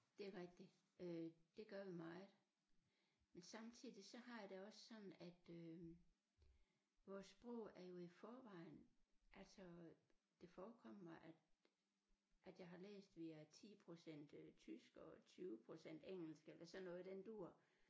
Det er rigtigt øh det gør vi meget men samtidig så har jeg det også sådan at øh vores sprog er jo i forvejen altså det forekommer mig at at jeg har læst via 10 procent øh tysk og 20 procent engelsk eller sådan noget i den dur